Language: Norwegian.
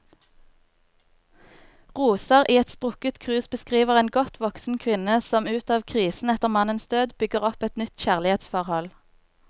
Roser i et sprukket krus beskriver en godt voksen kvinne som ut av krisen etter mannens død, bygger opp et nytt kjærlighetsforhold.